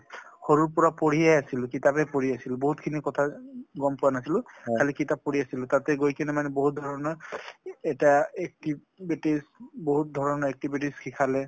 সৰুৰ পৰা পঢ়িয়ে আছিলোঁ। কিতাপেই পঢ়ি আছিলোঁ বহুত খিনি কথা গম পোৱা নাছিলো খালি কিতাপ পঢ়ি আছিলোঁ তাতে গৈ কিনে মানে বহুত ধৰনৰ এটা activities বহুত ধৰনৰ activities শিকালে।